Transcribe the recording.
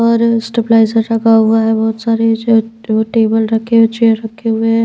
Stabiliser लगा हुआ है बहुत सारे जो टेबल रखे हुए चेयर रखे हुए हैं।